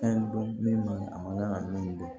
Fɛn dɔn min man a man kan ka min bɔ